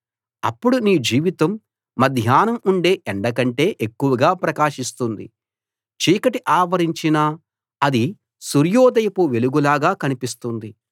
అప్పుడు నీ జీవితం మధ్యాహ్నం ఉండే ఎండ కంటే ఎక్కువగా ప్రకాశిస్తుంది చీకటి ఆవరించినా అది సూర్యోదయపు వెలుగులాగా కనిపిస్తుంది